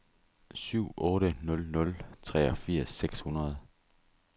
syv otte nul nul treogfirs seks hundrede